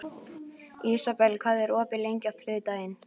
Ísabel, hvað er opið lengi á þriðjudaginn?